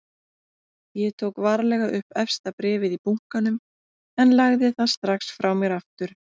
Ég tók varlega upp efsta bréfið í bunkanum en lagði það strax frá mér aftur.